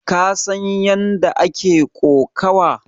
Ka san ƴanda ake ƙokawa?